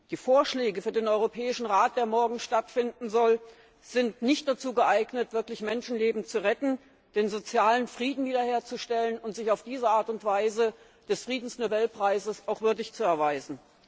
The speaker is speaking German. Die Vorschläge für den Europäischen Rat, der morgen stattfinden soll, sind nicht dazu geeignet, wirklich Menschenleben zu retten, den sozialen Frieden wiederherzustellen und sich auf diese Art und Weise des Friedensnobelpreises auch würdig zu erweisen.